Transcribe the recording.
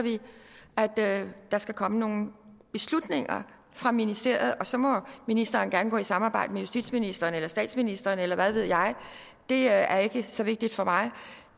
der skal komme nogle beslutninger fra ministeriet så må ministeren gerne gå i samarbejde med justitsministeren eller statsministeren eller hvad ved jeg det er ikke så vigtigt for mig